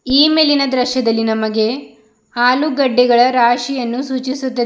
ಈ ಮೇಲಿನ ದೃಶ್ಯದಲ್ಲಿ ನಮಗೆ ಆಲೂಗೆಡ್ಡೆಗಳ ರಾಶಿಯನ್ನು ಸೂಚಿಸುತ್ತದೆ.